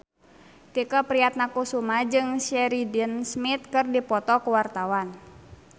Tike Priatnakusuma jeung Sheridan Smith keur dipoto ku wartawan